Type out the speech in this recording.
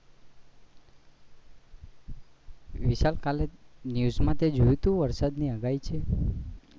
વિશાલ કાલે તે news માં તે જોયુ તું વરસાદ ની આગાહી છે